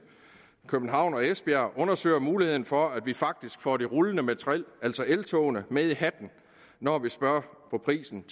københavn og esbjerg undersøger muligheden for at vi faktisk får det rullende materiel altså eltogene med i hatten når vi spørger om prisen